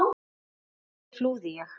Lóa: Hversu mikil?